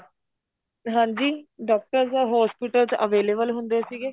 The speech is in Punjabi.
ਹਾਂਜੀ doctors ਤਾਂ hospital ਚ available ਹੁੰਦੇ ਸੀਗੇ